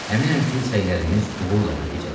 Əminəm ki, səylərimiz uğurla nəticələnəcək.